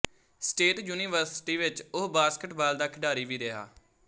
state university ਵਿੱਚ ਉਹ basketball ਦਾ ਖਿਡਾਰੀ ਵੀ ਰਿਹਾ